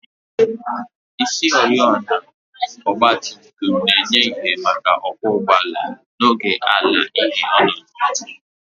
Isioriọna ọgba tum tum na-enye ìhè maka ọkwọ ụgbọala n'oge ala-ìhè ọnọdụ